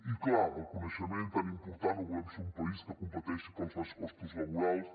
i clar el coneixement tan important o volem ser un país que competeixi pels baixos costos laborals